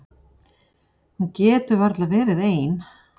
Hún getur varla verið ein.